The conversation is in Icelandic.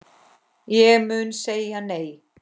Ég mun segja nei.